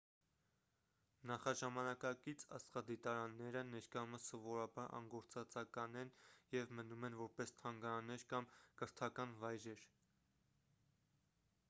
նախաժամանակակից աստղադիտարանները ներկայումս սովորաբար անգործածական են և մնում են որպես թանգարաններ կամ կրթական վայրեր